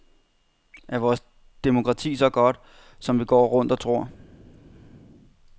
Er vores demokrati så godt, som vi går rundt og tror?